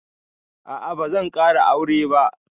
A'a bazan ƙara aure ba